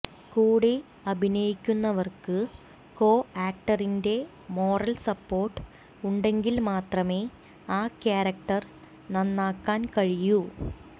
കൂടെ അഭിനയിക്കുന്നവർക്ക് കോ ആക്ടറിന്റെ മോറൽ സപ്പോർട്ട് ഉണ്ടെങ്കിൽ മാത്രമേ ആ ക്യാരക്ടർ നന്നാക്കാൻ കഴിയു